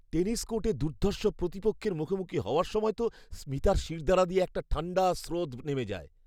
Tennis কোর্টে দুর্ধর্ষ প্রতিপক্ষের মুখোমুখি হওয়ার সময় তো স্মিতার শিরদাঁড়া দিয়ে একটা ঠাণ্ডা স্রোত নেমে যায়।